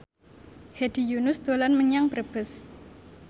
Hedi Yunus dolan menyang Brebes